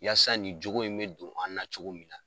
Yasa nin cogo in mi don an na cogo min na.